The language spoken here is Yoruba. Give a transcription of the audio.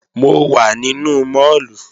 Mo wà nínú máàlù